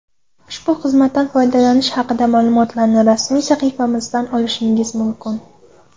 Ushbu xizmatlardan foydalanish haqida ma’lumotlarni rasmiy sahifalarimizdan olishingiz mumkin.